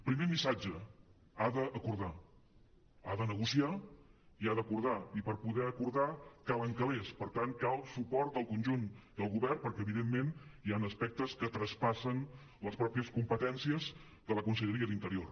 primer missatge ha d’acordar ha de negociar i ha d’acordar i per poder acordar calen calers per tant cal suport del conjunt del govern perquè evidentment hi han aspectes que traspassen les pròpies competències de la conselleria d’interior